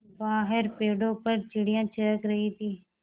बाहर पेड़ों पर चिड़ियाँ चहक रही थीं